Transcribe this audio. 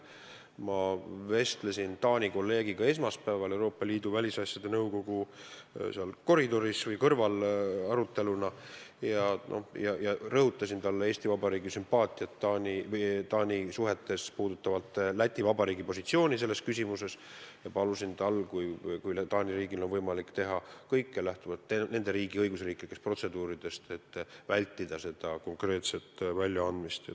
Ma vestlesin Taani kolleegiga esmaspäeval Euroopa Liidu välisasjade nõukogu istungil hoone koridoris ja rõhutasin talle, et Eesti Vabariik toetab Läti Vabariigi positsiooni selles küsimuses, ja palusin Taani riigil teha võimalikult kõik, muidugi lähtuvalt nende riigi õiguslikest protseduuridest, et vältida seda väljaandmist.